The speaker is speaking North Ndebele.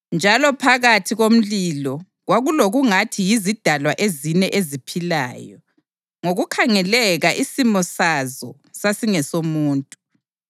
njalo phakathi komlilo kwakulokwakungathi yizidalwa ezine eziphilayo. Ngokukhangeleka isimo sazo sasingesomuntu,